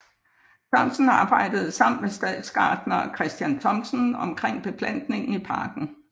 Sørensen arbejdede sammen med stadsgartner Christian Thomsen omkring beplantningen i parken